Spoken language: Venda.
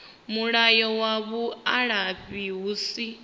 mulayo wa vhuaifa hu si